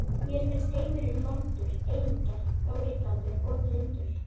Mér finnst heimurinn vondur, eigingjarn, óréttlátur og blindur.